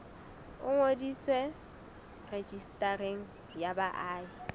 o ngodiswe rejistareng ya baahi